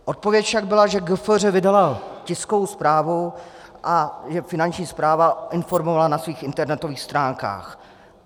Odpověď však byla, že GFŘ vydalo tiskovou zprávu a že Finanční správa informovala na svých internetových stránkách.